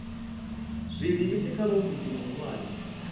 zwi livhise kha muofisi muhulwane